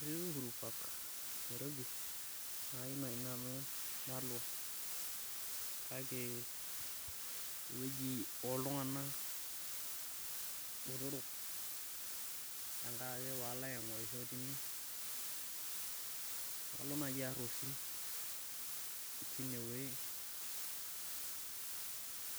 Etii uhuru park niarobi naa kayieu naaji nanu nalo, kake eweji oltunganak botorok, pee alo ake nalo aingorisho tine, nalo naaji aar osim tineweji,